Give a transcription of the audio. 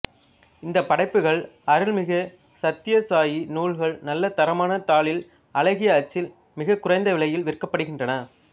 இந்தப் படைப்புக்கள் அருள்மிகு சத்தியசாயி நூல்கள் நல்ல தரமான தாளில் அழகிய அச்சில் மிகக் குறைந்தவிலையில் விற்கப்படுகின்றன